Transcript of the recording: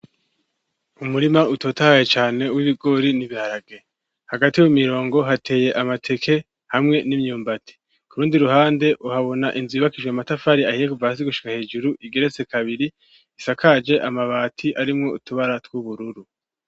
Umurima, utotahaye cane, w'ibigori n'ibiharage; hagati mu mirongo, hateye amateke, hamwe n'imyumbati; ku rundi ruhande, uhabona inzu, yubakijwe amatafari ahiye, kuva hasi, gushika hejuru, igeretse kabiri, isakaje amabati, arimwo utubara tw'ubururu.